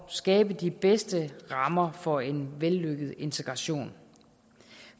skabe de bedste rammer for en vellykket integration